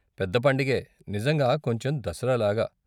పెద్ద పండగే, నిజంగా, కొంచెం దసరా లాగా.